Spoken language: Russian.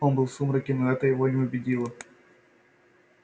он был в сумраке но это его не убедило